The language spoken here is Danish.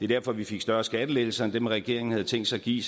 derfor vi fik større skattelettelser end dem regeringen havde tænkt sig at give